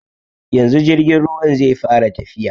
Yanzu jirgin ruwan zai fara tafiya.